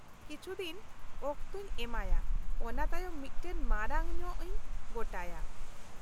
ᱠᱤᱪᱷᱩ ᱫᱤᱱ ᱚᱠᱛᱚᱧ ᱮᱢᱟᱭᱟ ᱚᱱᱟ ᱛᱟᱭᱚᱢ ᱢᱤᱫᱴᱟᱝ ᱢᱟᱨᱟᱝ ᱧᱚᱜ ᱤᱧ ᱜᱚᱴᱟᱭᱟ ᱾